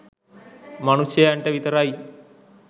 මනුෂ්‍යයන්ට විතරයි.